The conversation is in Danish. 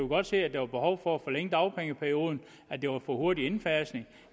godt se at der var behov for at forlænge dagpengeperioden at det var for hurtig en indfasning